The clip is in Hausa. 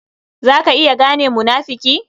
Za ka iya gane munafuki?